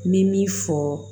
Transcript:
N bɛ min fɔ